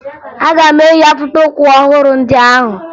Aga m eyi akpụkpọụkwụ ọhụrụ ndị ahụ